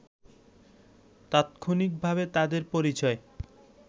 তাৎক্ষণিকভাবে তাদের পরিচয়